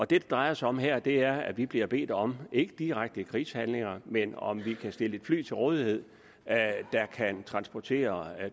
det drejer sig om her er at vi bliver bedt om ikke i direkte krigshandlinger men om vi kan stille et fly til rådighed der kan transportere